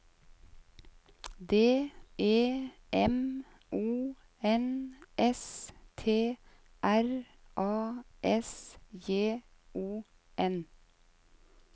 D E M O N S T R A S J O N